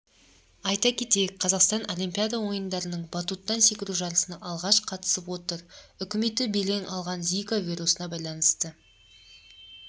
айта кетейік қазақстан олимпиада ойындарыныңбаттуттан секіру жарысына алғаш қатысып отыр үкіметі белең алған зика вирусына байланысты